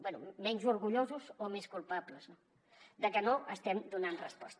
bé menys orgullosos o més culpables de que no estem donant resposta